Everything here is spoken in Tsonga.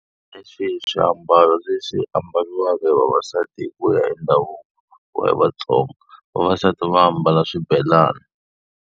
Hi swihi swiambalo leswi ambariwaka hi vavasati hi ku ya hi ndhavuko wa Vatsonga? Vavasati va ambala swibelani.